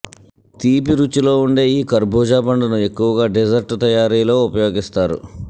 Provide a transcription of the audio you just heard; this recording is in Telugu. తీపి రుచిలో ఉండే ఈ ఖర్బూజాపండును ఎక్కువగా డిజర్ట్ తయారీలో ఉపయోగిస్తారు